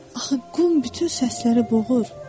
Axı qum bütün səsləri boğur.